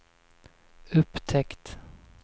upptäckt